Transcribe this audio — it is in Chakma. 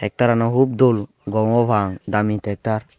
tractor an u hub dol gom obo parapang dami tractor.